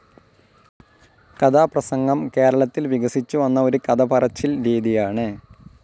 കഥാപ്രസംഗം കേരളത്തിൽ വികസിച്ചുവന്ന ഒരു കഥ പറച്ചിൽ രീതിയാണ്